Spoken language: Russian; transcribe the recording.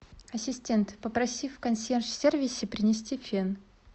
ассистент попроси в консьерж сервисе принести фен